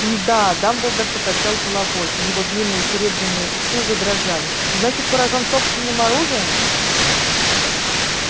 м-м-да дамблдор покачал головой и его длинные серебряные усы задрожали значит поражён собственным оружием